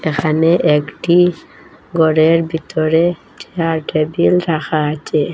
এখানে একটি গরের ভিতরে চেয়ার টেবিল রাখা আচে।